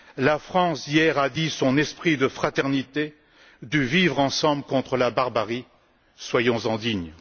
La France a dit hier son esprit de fraternité, du vivre ensemble contre la barbarie, soyons en dignes!